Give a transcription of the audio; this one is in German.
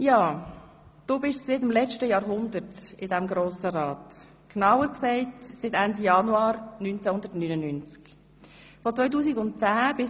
» Du bist seit dem letzten Jahrhundert im Grossen Rat, genauer gesagt seit Ende Januar 1999.